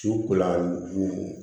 Su kolan don